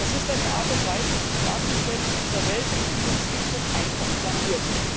ist eine Art und Weise, sich darzustellen in dieser Welt, die uns schlicht und einfach blamiert.